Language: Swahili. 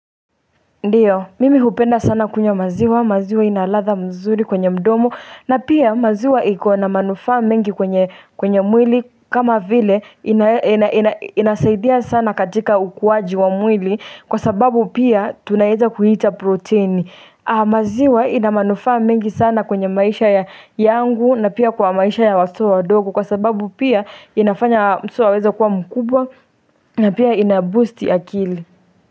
Ndiyo, mimi hupenda sana kunywa maziwa, maziwa ina ladha mzuri kwenye mdomo na pia maziwa iko na manufaa mingi kwenye mwili kama vile, inasaidia sana katika ukuwaji wa mwili Kwa sababu pia tunaeza kuita proteini maziwa ina manufa mingi sana kwenye maisha yangu na pia kwa maisha ya watoto wadogo Kwa sababu pia inafanya mtoto aweze kuwa mkubwa na pia inaboosti akili.